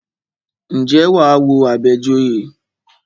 Ǹjẹ́ wà á wo Àbẹ̀joyè?